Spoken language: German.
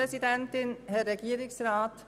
Sprecherin der SiK-Minderheit.